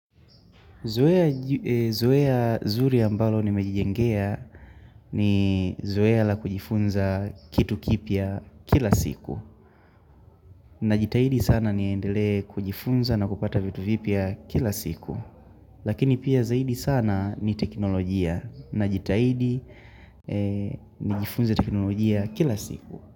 Zoea zuri ambalo nimejijengea ni zoea la kujifunza kitu kipya kila siku na jitahidi sana niendele kujifunza na kupata vitu vipya kila siku Lakini pia zaidi sana ni teknolojia na jitahidi ni jifunza teknolojia kila siku.